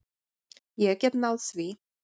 Ég get náð því.